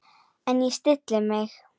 En ég stilli mig.